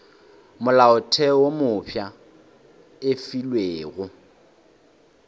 molaotheo wo mofsa e fegilwe